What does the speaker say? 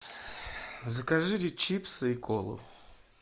закажи чипсы и колу